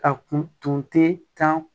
A kun tun tɛ kan